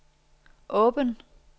åben